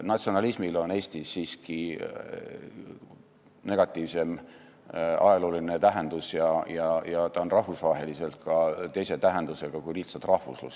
Natsionalismil on Eestis siiski ajalooliselt negatiivsem tähendus ja ta on rahvusvaheliselt ka teise tähendusega kui lihtsalt rahvuslus.